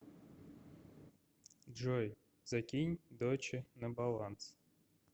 джой закинь доче на баланс